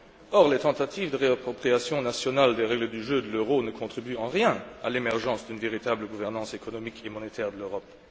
Or, les tentatives de réappropriation nationale des règles du jeu de l'euro ne contribuent en rien à l'émergence d'une véritable gouvernance économique et monétaire de l'Europe.